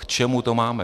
K čemu to máme?